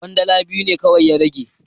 Kwandala biyu ne kawai ya rage.